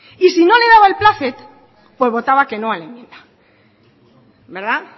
y no le daba el plácet pues votaba que no a la enmienda verdad